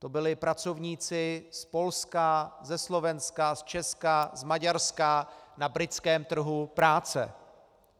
To byli pracovníci z Polska, ze Slovenska, z Česka, z Maďarska na britském trhu práce.